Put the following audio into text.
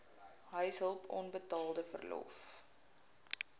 huishulp onbetaalde verlof